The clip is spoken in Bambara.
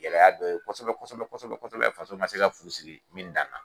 Gɛlɛya dɔ ye kosɛbɛ kosɛbɛ kosɛbɛ kosɛbɛ faso ma se ka fu siri min dan na.